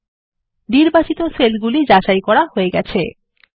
নির্বাচিত সেলগুলি যাচাই করা হয়ে গেছে160